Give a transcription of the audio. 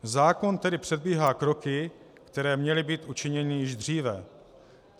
Zákon tedy předbíhá kroky, které měly být učiněny již dříve.